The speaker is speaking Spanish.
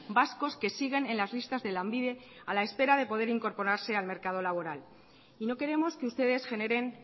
vascos que siguen en las listas de lanbide a la espera de poder incorporarse al mercado laboral y no queremos que ustedes generen